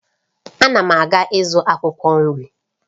Ana m aga ịzụ akwụkwọ nri